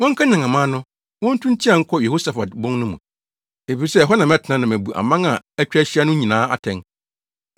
“Wɔnkanyan aman no; wontu nteɛ nkɔ Yehosafat bon no mu, efisɛ ɛhɔ na mɛtena na mabu aman a atwa ahyia no nyinaa atɛn.